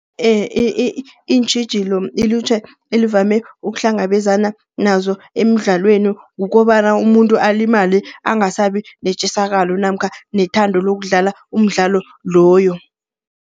Iintjhijilo ilutjha elivame ukuhlangabezana nazo emidlalweni kukobana, umuntu alimale, angasabi netjisakalo namkha nethando lokudlala umdlalo loyo.